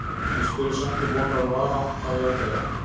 Ég spurði samt til vonar og vara: Á ég að deyja?